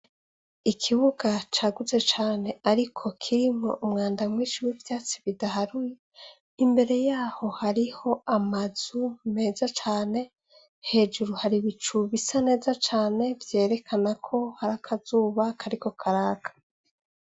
Ikibuga caguze cane, ariko kirimwe umwanda mwishiwi vyatsi bidaharue imbere yaho hariho amazu meza cane hejuru hari bicubisa neza cane vyerekanako hari akazuba kariko karaka.